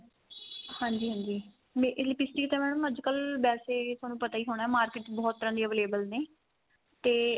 ਹਾਂਜੀ ਹਾਂਜੀ ਇਹ lipstick ਤਾਂ madam ਅੱਜਕਲ ਵੈਸੇ ਤੁਹਾਨੂੰ ਪਤਾ ਈ ਹੋਣਾ market ਵਿੱਚ ਬਹੁਤ ਤਰ੍ਹਾਂ ਦੀ available ਨੇ ਤੇ